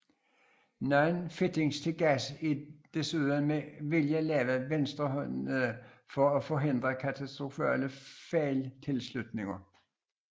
Nogle fittings til gas er desuden med vilje lavet venstrehåndede for at forhindre katastrofale fejltilslutninger